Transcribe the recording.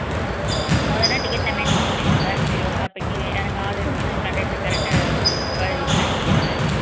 முதன்னா ticket ல mention பண்ணிருவாங்க சரி இப்போ இறங்க ஆள் இருக்குன்னு conductor correct ஆ ப விசில் அடிச்சுருவாரு